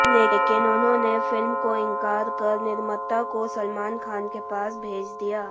लेकिन उन्होंने फिल्म को इंकार कर निर्माता को सलमान खान के पास भेज दिया